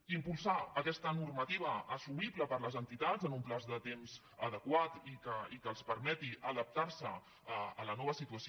i impulsar aquesta normativa assumible per les entitats en un termini de temps adequat i que els permeti adaptar se a la nova situació